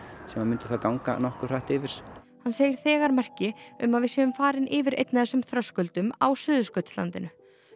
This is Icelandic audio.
sem myndu þá ganga nokkuð hratt yfir hann segir þegar merki um að við séum farin yfir einn af þessum þröskuldum á Suðurskautslandinu